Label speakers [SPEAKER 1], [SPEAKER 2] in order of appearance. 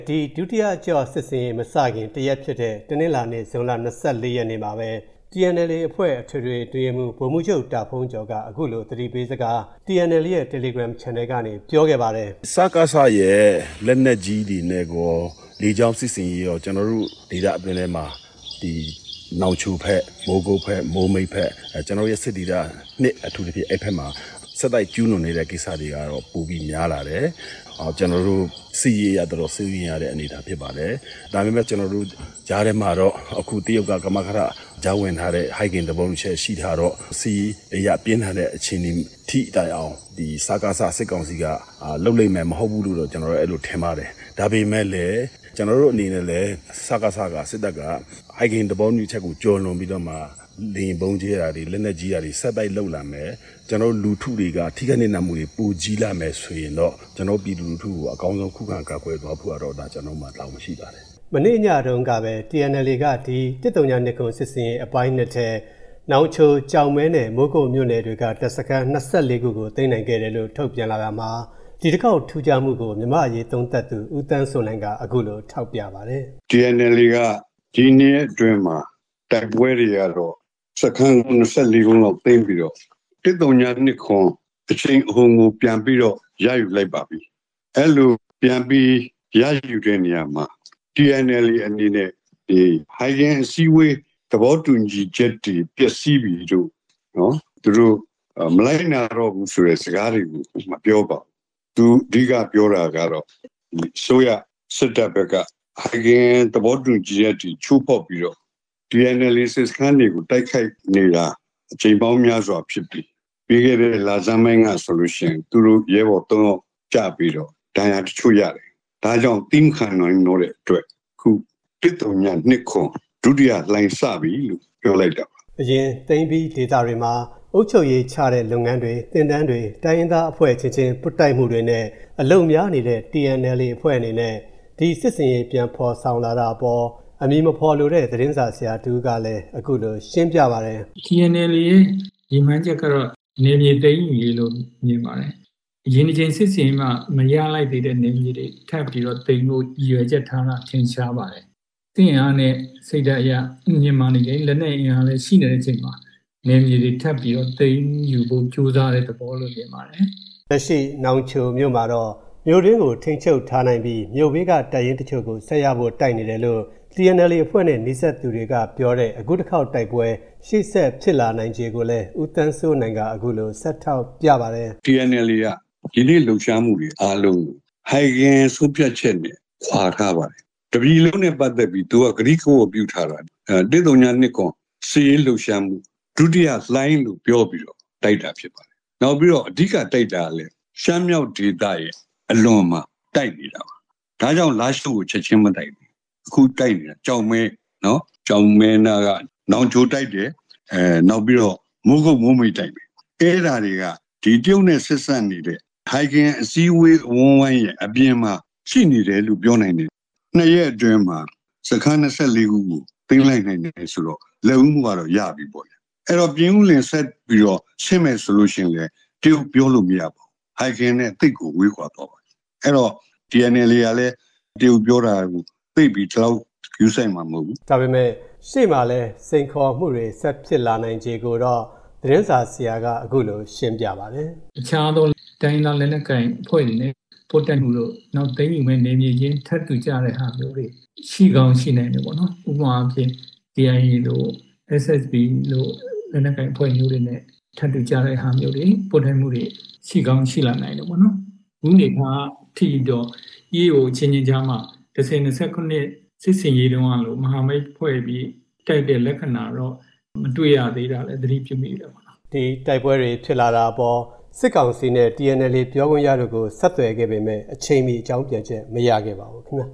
[SPEAKER 1] ဒီ ဒုတိယအကျော့ စစ်ဆင်ရေးမစခင် တရက်ဖြစ်တဲ့ တနင်္လာနေ့ ဇွန်လ ၂၄ ရက်မှာပဲ၊ TNLA အဖွဲ့ အထွေထွေ အတွင်းရေးမှူး ဗိုလ်မှူးချုပ် တာဘုန်းကျော်က TNLA ရဲ့ တယ်လီဂရမ်ချန်နယ်ကနေ သတိပေးစကားကို အခုလို ပြောခဲ့ပါတယ်
[SPEAKER 2] ။ "စကစရဲ့ လက်နက်ကြီးတွေနဲ့ကော လေကြောင်းစစ်ဆင်ရေးကော ကျနော်တို့ဒေသအတွင်းထဲမှာ နောင်ချိုဘက်၊ မိုးမိတ်ဘက်၊ မိုးကုတ်ဘက်- ကျနော်တို့ရဲ့စစ်ဒေသ အထူးသဖြင့် အဲဒီဘက်မှာ ဆက်တိုက်ကျူးလွန်နေတဲ့ကိစ္စတွေကတော့ ပိုပြီး များလာတယ်။ စစ်ရေးအရ တော်တော် စိုးရိမ်ရတဲ့အနေအထားဖြစ်ပါတယ်။ ဒါပေမဲ့ ကြားထဲမှာတော့ အခု တရုတ်က ကမကထ ကြားဝင်ထားတဲ့ ဟိုင်ဂင်သဘောတူညီချက်ရှိထားတော့ စစ်ရေးအရ ပြင်းထန်တဲ့အခြေအနေထိတိုင်အောင် စကစ စစ်ကောင်စီက လုပ်လိမ့်မယ် မဟုတ်ဘူးလို့တော့ ကျနော်ထင်ပါတယ်။ ဒါပေမဲ့လည်း ကျနော်တို့အနေနဲ့လည်း စကစ-က ၊ စစ်တပ်က ဟိုင်ဂင်သဘောတူညီချက်ကိုကျော်လွန်ပြီးတော့မှ လေယာဥ်ဗုံးကြဲတာတွေ၊ လက်နက်ကြီးပစ်တာတွေ ဆက်တိုက်လုပ်လာမယ်၊ လူထုတွေက ထိခိုက်နစ်နာမှုတွေ ပိုကြီးလာမယ်ဆိုရင်တော့ ပြည်သူလူထု ကို အကောင်းဆုံး ခုခံကာကွယ်သွားဖို့ကတော့ ကျနော်တို့မှာ တာဝန်ရှိပ
[SPEAKER 1] ါတယ်။" မနေ့ညတုံးကပဲ TNLA က ဒီ ၁၀၂၇ စစ်ဆင်ရေးအပိုင်း ထဲ နောင်ချို၊ ကျောက်မဲ နဲ့ မိုးကုတ်မြို့နယ်တွေက တပ်စခန်း ၂၄ ခုကို သိမ်းနိုင်ခဲ့တယ်လို့ ထုတ်ပြန်လာတာမှာ ဒီတခေါက် ထူးခြားမှုကို မြန်မာ့အရေးသုံးသပ်သူ ဦးသန်းစိုးနိုင်က အခုလို ထောက်ပြပါတယ်
[SPEAKER 3] ။ "TNLA က ဒီနှစ်အတွင်းမှာ တိုက်ပွဲတွေကတော့ စခန်း ၂၄ လုံးလောက်သိမ်းပြီးတော့ ၁၀၂၇ အရှိန်အဟုန်ကို ပြန်ပြီးတော့ ရယူလိုက်ပါပြီ။ အဲလိုပြန်ပြီး ရယူတဲ့နေရာမှာ TNLA အနေနဲ့ ဟိုင်ဂင်အစည်းအဝေး သဘောတူညီချက်တွေ ပျက်စီးပြီလို့ - သူတို့ မလိုက်နာတော့ဘူးဆိုတဲ့စကားတွေကို မပြောပါဘူး။ သူအဓိကပြောတာက အစိုးရ စစ်တပ်ဘက်က ဟိုင်ဂင်သဘောတူညီချက်အထိ ချိုးဖောက်ပြီးတော့ TNLA စစ်စခန်းတွေကို တိုက်ခိုက်နေတာ အကြိမ်ပေါင်းများစွာဖြစ်ပြီး ပြီးခဲ့တဲ့လဆန်းပိုင်းကဆိုလို့ရှိရင် သူတို့ ရဲဘော်သုံးယောက်ကျပြီးတော့ ဒဏ်ရာတချို့ရတယ်။ ဒါကြောင့် သည်းမခံနိုင်တော့တဲ့အတွက် ၁၀၂၇ ဒုတိယလှိုင်းစပြီ-လို့ ပြောလိုက်တာပါ
[SPEAKER 1] ။" အရင် သိမ်းပြီးထားတဲ့ဒေသတွေမှာ အုပ်ချုပ်ရေးချတဲ့လုပ်ငန်းတွေ၊ သင်တန်းတွေ၊ တိုင်းရင်သားအဖွဲ့အချင်းချင်း ပွတ်တိုက်မှုတွေနဲ့ အလုပ်များနေခဲ့တဲ့ TNLA အဖွဲ့အနေနဲ့ ဒီ စစ်ဆင်ရေး ပြန်ဖော်ဆောင်လာတာအပေါ် အမည်မဖော်လိုတဲ့ သတင်းစာဆရာတဦးကလည်း အခုလို ရှင်းပြပါတယ်
[SPEAKER 4] ။ "TNLA ရဲ့ရည်မှန်းချက်က နယ်မြေသိမ်းယူရေးလို့ မြင်ပါတယ်။ အရင်စစ်ဆင်ရေးမှာ မရလိုက်သေးတဲ့နယ်မြေတွေကို ထပ်ပြီးတော့သိမ်းဖို့ ရည်ရွယ်ချက်ထားတာ ထင်ရှားပါတယ်။ စစ်အင်အားနဲ့စိတ်ဓာတ်အရ မြင့်မားနေတယ်၊ လက်နက်အင်အားလည်းရှိနေတဲ့အချိန်မှာ နယ်မြေတွေထပ်ပြီးတော့ သိမ်းယူဖို့ကြိုးစားတဲ့ သဘောလို့မြင်ပါတယ်
[SPEAKER 1] ။" လက်ရှိ နောင်ချိုမှာတော့ မြို့တွင်းကို ထိန်းချုပ်ထားနိုင်ပြီး မြို့ဘေးက တပ်ရင်းတချို့ကို ဆက်ရဖို့တိုက်နေတယ်လို့ TNLA အဖွဲ့နဲ့နီးစပ်သူတွေကပြောပါတယ်။ အခုတခေါက် တိုက်ပွဲ၊ ရှေ့ဆက်ဖြစ်လာနိုင်ခြေကိုလည်း ဦးသန်းစိုးနိုင်က အခုလို ဆက်ထောက်ပြပါတယ်
[SPEAKER 3] ။ "TNLA က ယနေ့လှုပ်ရှားမှုတွေ အားလုံးကို ဟိုင်ဂင် ဆုံးဖြတ်ချက်နဲ့ခွါထားပါတယ်။ တပြည်လုံးနဲ့ပတ်သက်ပြီး သူက ကတိကဝတ်ပြုထားပါတယ်။ ၁၀၂၇ စစ်ရေးလှုပ်ရှားမှု ဒုတိယလှိုင်း- လို့ ပြောပြီးတော့ တိုက်တာဖြစ်ပါတယ်။ နောက်ပြီးတော့ အဓိကတိုက်တာကလည်း ရှမ်းမြောက်ဒေသရဲ့အလွန်မှာတိုက်တယ်။ ဒါကြောင့် လားရှိုးကိုချက်ခြင်းမတိုက်တာ။ အခုတိုက်နေတာ ကျောက်မဲ၊ ကျောက်မဲနားက နောင်ချိုင်တိုက်တယ်၊ နောက်ပြီးတော့ မိုးကုတ်၊ မိုးမိတ်တိုက်မယ်။ အဲဒါတွေက တရုတ်နဲ့ဆက်စပ်နေတဲ့ ဟိုင်ဂင်အစည်းအဝေးအဝန်းအဝိုင်းရဲ့အပြင်မှာ ရှိနေတယ်လို့ ပြောနိုင်တယ်။ နှစ်ရက်အတွင်းမှာ စခန်း ၂၄ ခုကို သိမ်းလိုက်နိုင်တယ်ဆိုတော့ လက်ဦးမှုကတော့ ရပြီပေါ့ဗျာ။ အဲဒီတော့ ပြင်ဦးလွင်ကိုဆက်ပြီးတော့ဆင်းမယ်ဆိုလို့ရှိရင်လည်း တရုတ်ပြောလို့မရဘူး။ ဟိုင်ဂင်နဲ့သိပ်ကို ဝေးကွာသွားမှာ။ အဲဒီတော့ TNLA ကလည်း တရုတ်ပြောတာကို သိပ်ပြီး ဂရုစိုက်မှာမဟုတ်ဘူး။
[SPEAKER 1] " ဒါပေမဲ့ ရှေ့မှာရှိနေတဲ့ စိန်ခေါ်မှုတွေနဲ့ ဆက်ဖြစ်လာနိုင်ခြေတွေကိုတော့ သတင်းစာဆရာက အခုလို ဆက်ရှင်းပြပါတယ်။ "တခြား
[SPEAKER 4] သော တိုင်းရင်းသားလက်နက်ကိုင်အဖွဲ့တွေနဲ့ပွတ်တိုက်မှုတို့၊ နောက် သိမ်းယူမယ့်နယ်မြေချင်းထပ်ထူကျတဲ့ဟာမျိုးတွေ ရှိကောင်းရှိနိုင်တယ်ပေါ့နော်။ ဥပမာအားဖြင့် KIA တို့၊ SSPP တို့လို လက်နက်ကိုင်အဖွဲ့မျိုးတွေနဲ့ထပ်တူကျတဲ့ဟာမျိုးတွေ၊ ပွတ်တိုက်မှုတွေ ရှိကောင်းရှိလာနိုင်တယ်ပေါ့နော်။ အခုနေမှာ ....EAO အချင်းချင်းကြားမှာ ၁၀၂၇ စစ်ဆင်ရေးတုန်းကလို မဟာမိတ်ဖွဲ့ပြီး တိုက်တဲ့လက္ခဏာတော့ မတွေ့ရ
[SPEAKER 1] သေးတာလည်း သတိပြုမိတယ်ပေါ့နော်။" ဒီ တိုက်ပွဲတွေ ဖြစ်လာတာအပေါ် စစ်ကောင်စီ နဲ့ TNLA ပြောခွင့်ရတို့ကို ဆက်သွယ်ခဲ့ပေမဲ့ အချိန်မီ အကြောင်းပြန်ချက် မရခဲ့ပါဘူး ခင်
[SPEAKER 4] ဗျ